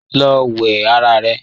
Lọ wẹ ara rẹ!